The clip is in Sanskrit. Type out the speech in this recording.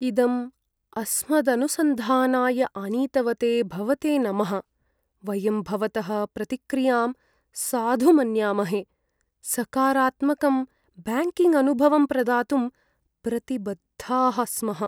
इदम् अस्मदनुसन्धानाय आनीतवते भवते नमः, वयं भवतः प्रतिक्रियां साधु मन्यामहे, सकारात्मकं ब्याङ्किङ्ग्अनुभवं प्रदातुं प्रतिबद्धाः स्मः।